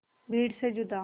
भीड़ से जुदा